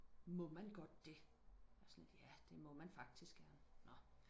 må man godt det jeg var sådan ja det må man faktisk gerne nå